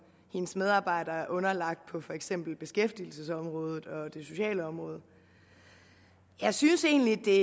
hendes medarbejdere er underlagt på for eksempel beskæftigelsesområdet og det sociale område jeg synes egentlig det er